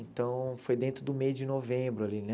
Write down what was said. Então, foi dentro do meio de novembro ali, né?